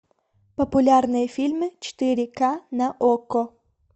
популярные фильмы четыре к на окко